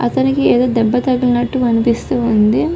అతనికి ఏదో దెబ్బ తగిలినట్టు అనిపిస్తూ ఉంది.